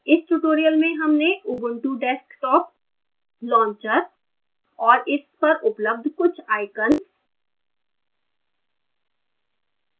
इस tutorial में हमने ubuntu desktop launcher और इस पर उपलब्ध कुछ icons